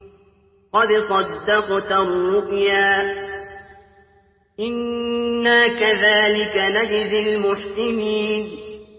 قَدْ صَدَّقْتَ الرُّؤْيَا ۚ إِنَّا كَذَٰلِكَ نَجْزِي الْمُحْسِنِينَ